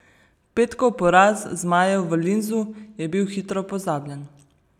Petkov poraz zmajev v Linzu je bil hitro pozabljen.